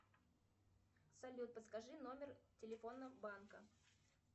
салют подскажи номер телефона банка